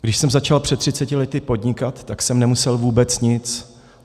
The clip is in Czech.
Když jsem začal před třiceti lety podnikat, tak jsem nemusel vůbec nic.